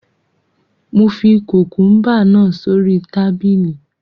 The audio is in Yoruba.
Mo fi kùkùúmbà náà sórí tábìlì